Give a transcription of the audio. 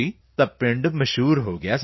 ਤਾਂ ਉਹ ਪਿੰਡ ਮਸ਼ਹੂਰ ਹੋ ਗਿਆ ਸਰ